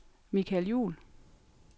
Michael Juul